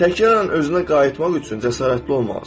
Təkraran özünə qayıtmaq üçün cəsarətli olmalısan.